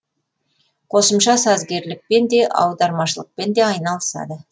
қосымша сазгерлікпен де аудармашылықпен де айналысады